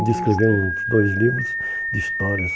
De escrever uns dois livros de histórias.